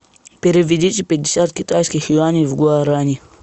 переведите пятьдесят китайских юаней в гуарани